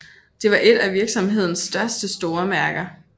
Det var et af virksomhedens første store mærker